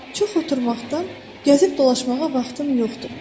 Çox oturmaqdan gəzib dolaşmağa vaxtım yoxdur.